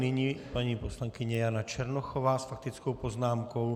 Nyní paní poslankyně Jana Černochová s faktickou poznámkou.